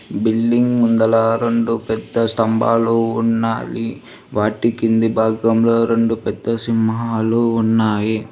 building ముందల రొండు పెద్ద స్తంబాలు ఉన్నాయి వాటి కింది భాగంలో రొండు పెద్ద సింహాలు ఉన్నాయి